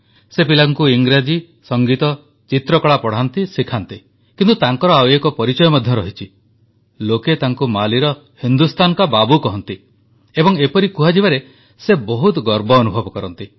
ସେ ପିଲାଙ୍କୁ ଇଂରେଜୀ ସଂଗୀତ ଚିତ୍ରକଳା ପଢ଼ାନ୍ତି ଶିଖାନ୍ତି କିନ୍ତୁ ତାଙ୍କର ଆଉ ଏକ ପରିଚୟ ମଧ୍ୟ ରହିଛି ଲୋକେ ତାଙ୍କୁ ମାଲିର ହିନ୍ଦୁସ୍ତାନ କା ବାବୁ କହନ୍ତି ଏବଂ ଏପରି କୁହାଯିବାରେ ବହୁତ ଗର୍ବ ଅନୁଭବ କରନ୍ତି